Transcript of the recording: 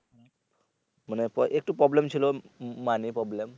মানে একটু problem ছিলো money problem